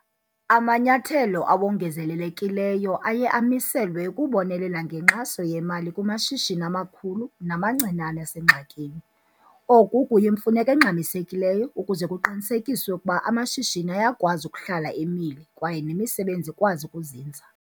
Amanyathelo awongezelelekileyo aye amiselwe ukubonelela ngenkxaso yemali kumashishini amakhulu namancinane asengxakini. Oku kuyimfuneko engxamisekileyo ukuze kuqinisekiswe ukuba amashishini ayakwazi ukuhlala emile kwaye nemisebenzi ikwazi ukuzinza.